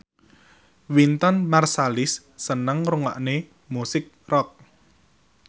Wynton Marsalis seneng ngrungokne musik rock